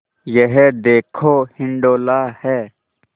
यह देखो हिंडोला है